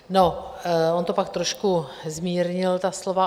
No on to pak trošku zmírnil, ta slova.